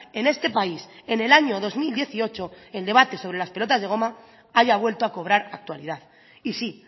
en este país en el año dos mil dieciocho el debate sobre las pelotas de goma haya vuelto a cobrar actualidad y sí